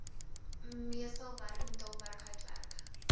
messelwerk metaalwerk houtwerk